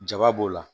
Jaba b'o la